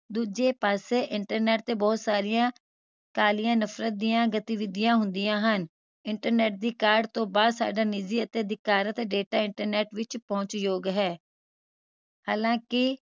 ਦੂਜੇ ਪਾਸੇ internet ਤੇ ਬਹੁਤ ਸਾਰੀਆਂ ਕਾਲੀਆਂ ਨਫ਼ਰਤ ਦੀਆਂ ਗਤੀਵਿਧੀਆਂ ਹੁੰਦੀਆਂ ਹਨ internet ਦੀ ਕਾਢ ਤੋਂ ਬਾਅਦ ਸਾਡਾ ਨਿਜ਼ੀ ਅਤੇ ਅਧਿਕਾਰਤ data internet ਵਿਚ ਪਹੁੰਚ ਯੋਗ ਹੈ ਹਾਲਾਂਕਿ